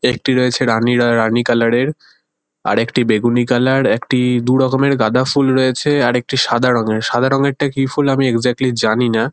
একটি রয়েছে রানি রয় রানি কালার -এর আরেকটি বেগুনি কালার । একটি-ই দুরকমের গাদা ফুল রয়েছে। আর একটি সাদা রঙের। সাদা রঙেরটা কি ফুল আমি এক্সাক্টলি জানি না।